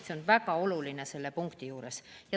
See on väga oluline selle punkti juures.